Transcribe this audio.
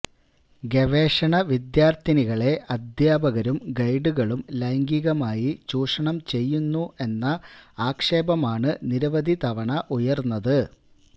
ഗവേഷണ വിദ്യാർത്ഥിനിളെ അദ്ധ്യാപകരും ഗൈഡുകളും ലൈംഗികമായി ചൂഷണം ചെയ്യുന്നു എന്ന ആക്ഷേപമാണ് നിരവധി തവണ ഉയർന്നത്